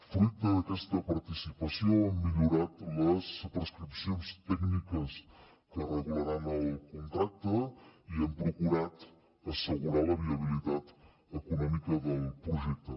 fruit d’aquesta participació han millorat les prescripcions tècniques que regularan el contracte i hem procurat assegurar la viabilitat econòmica del projecte